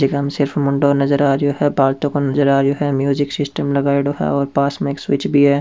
Music system लगाईडो है और पास में एक स्वीच भी है।